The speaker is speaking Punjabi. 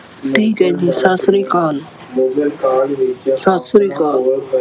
ਠੀਕ ਹੈ ਜੀ ਸਤਿ ਸ਼੍ਰੀ ਅਕਾਲ, ਸਤਿ ਸ਼੍ਰੀ ਅਕਾਲ।